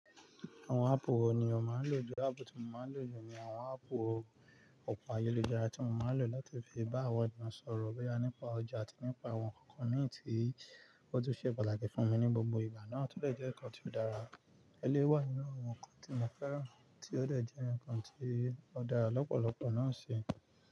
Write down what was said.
Àwọn áàpù wo ni o máa ń lò jù? Áàpù tí mo máa ń lò jù ni àwọn áàpù ọkọ̀ ayeluja ara tí mo máa ń lò láti fi bá àwọn ènìyàn sọ̀rọ̀ nípa ọjà àti nípa àwọn ǹkan mí ì tí ó tún ṣe pàtàkì fún mi ní gbogbo ìgbà náà, tó dè jẹ́ ǹkan tí ó dára. Elyiwé wà nínú àwọn ǹkan tí mo fẹ́ràn, tí ó lè jẹ́ ǹkan tí ó dára lọ́pọ̀lọpọ̀ náà ṣi.